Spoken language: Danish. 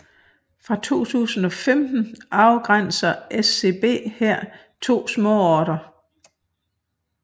Fra 2015 afgrænser SCB her to småorter